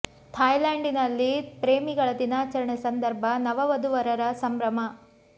Thai land ನಲ್ಲಿ ಪ್ರೇಮಿಗಳ ದಿನಾಚರಣೆ ಸಂದರ್ಭ ನವ ವಧುವರರ ಸಂಭ್ರಮ